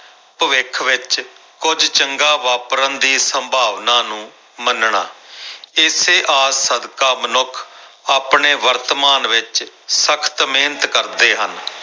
ਭਵਿੱਖ ਵਿੱਚ ਕੁੱਝ ਚੰਗਾ ਵਾਪਰਨ ਦੀ ਸੰਭਾਵਨਾ ਨੂੰ ਮੰਨਣਾ ਇਸੇ ਆਸ ਸਦਕਾ ਮਨੁੱਖ ਆਪਣੇ ਵਰਤਮਾਨ ਵਿੱਚ ਸਖ਼ਤ ਮਿਹਨਤ ਕਰਦੇ ਹਨ।